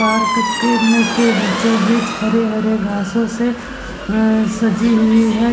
Park के में के बीचो-बीच हरे-हरे घासों से अ सजी हुई है।